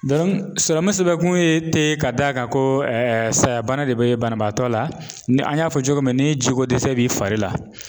sɔrɔmu sɛbɛn kun ye tɛ ka d'a kan ko sayabana de bɛ banabaatɔ la ni an y'a fɔ cogo min ni jiko dɛsɛ bɛ fari la.